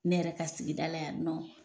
Ne yɛrɛ ka sigida la yan nɔ